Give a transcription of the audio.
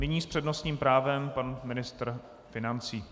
Nyní s přednostním právem pan ministr financí.